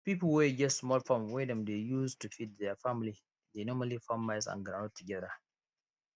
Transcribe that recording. pipo wey get small farm wey dem dey use to feed their family dey normally farm maize and groundnut together